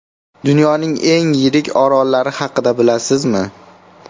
Dunyoning eng yirik orollari haqida bilasizmi?